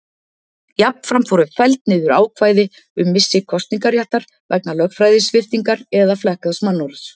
Jafnframt voru felld niður ákvæði um missi kosningaréttar vegna lögræðissviptingar eða flekkaðs mannorðs.